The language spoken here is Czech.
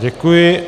Děkuji.